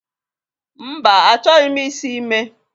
Mba, achọghị m isi ime